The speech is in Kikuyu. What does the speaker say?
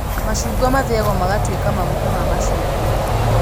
Macungwa mathĩagwo magatuĩka maguta ma macungwa